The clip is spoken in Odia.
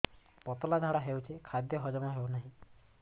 ପତଳା ଝାଡା ହେଉଛି ଖାଦ୍ୟ ହଜମ ହେଉନାହିଁ